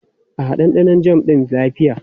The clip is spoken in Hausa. A'a, ɗanɗanon jam ɗin lafiya.